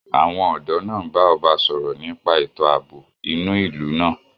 Àwọn ọ̀dọ́ náà ń bá ọba sọ̀rọ̀ nípa ètò àbò ínú ìlú náà.